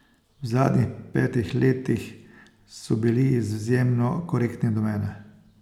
V zadnjih petih letih so bili izjemno korektni do mene.